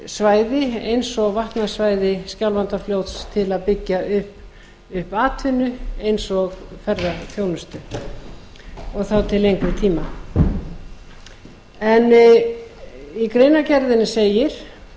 svæði eins og vatnasvæði skjálfandafljóts til að byggja upp atvinnu eins og ferðaþjónusta og þá til lengri tíma í greinargerðinni segir